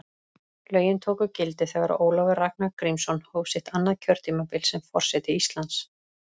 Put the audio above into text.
Lögin tóku gildi þegar Ólafur Ragnar Grímsson hóf sitt annað kjörtímabil sem forseti Íslands.